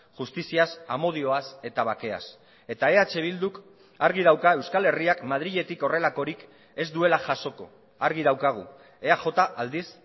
justiziaz amodioaz eta bakeaz eta eh bilduk argi dauka euskal herriak madriletik horrelakorik ez duela jasoko argi daukagu eaj aldiz